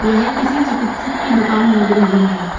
यह किसी चिकित्सक की दुकान लग रही है।